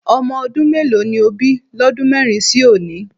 Ọmọ ọdún mélòó ni Òbí lọ́dún mẹ́rin sí òní?